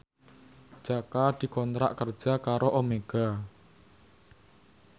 Jaka dikontrak kerja karo Omega